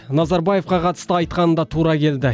назарбаевқа қатысты айтқаны да тура келді